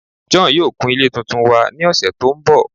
John yoo kun ile tuntun wa ni ọsẹ to nbọ